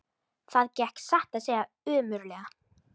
Það gekk satt að segja ömurlega.